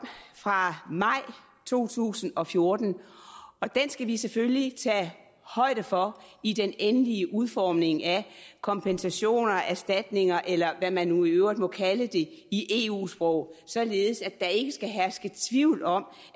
fra maj to tusind og fjorten og den skal vi selvfølgelig tage højde for i den endelige udformning af kompensationer erstatninger eller hvad man nu i øvrigt må kalde det i eu sprog således at der ikke skal herske tvivl om